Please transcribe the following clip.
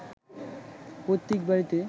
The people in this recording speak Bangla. পৈতৃক বাড়ীতে